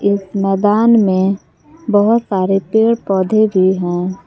इस मैदान में बहोत सारे पेड़ पौधे भी हैं।